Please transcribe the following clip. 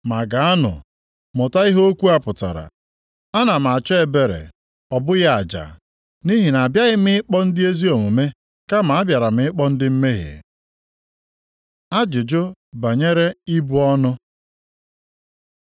Ma gaanụ mụta ihe okwu a pụtara, ‘Ana m achọ ebere, ọ bụghị aja.’ + 9:13 \+xt Hos 6:6\+xt* Nʼihi na abịaghị m ịkpọ ndị ezi omume, kama abịara m ịkpọ ndị mmehie.” Ajụjụ banyere ibu ọnụ